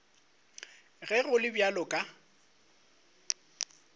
ge go le bjalo ka